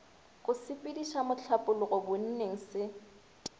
go sepediša mohlapologo bonneng se